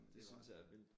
Det synes jeg er vildt